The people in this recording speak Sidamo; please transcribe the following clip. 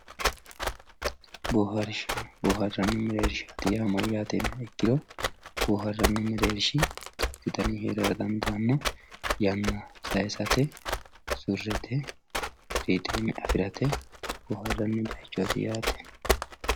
Boohaarisha, booharanni mereerishati yaa mayate yiniha ikkiro booharanni mereerish duuchu danihu heerara dandaano yana sayisatr surete firideme afirate booharani bayiichoti yaate